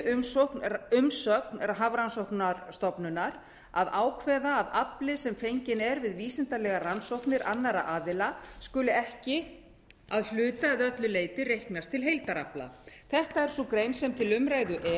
umsögn hafrannsóknastofnunar að ákveða að afli sem fenginn er við vísindalegar rannsóknir annarra aðila skuli ekki að hluta eða öllu leyti reiknast til heildarafla þetta er sú grein sem til umræðu er